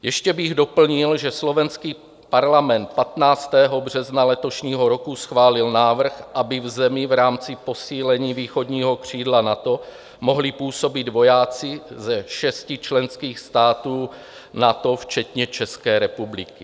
Ještě bych doplnil, že slovenský parlament 15. března letošního roku schválil návrh, aby v zemi v rámci posílení východního křídla NATO mohli působit vojáci ze šesti členských států NATO včetně České republiky.